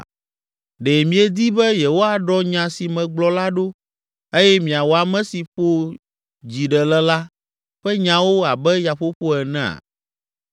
Ɖe miedi be yewoaɖɔ nya si megblɔ la ɖo eye miawɔ ame si ƒo dzi ɖe le la ƒe nyawo abe yaƒoƒo enea?